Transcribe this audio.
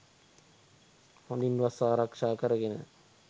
හොඳින් වස් ආරක්ෂා කරගෙන,